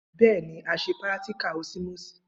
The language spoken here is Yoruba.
Bẹẹni,à sẹ piràtíkà òsímósì.